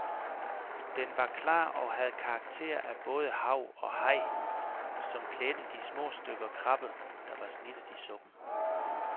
Den var klar og havde karakter af både hav og haj, som klædte de små stykker krabbe, der var snittet i suppen.